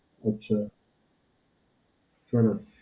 અચ્છા, સરસ.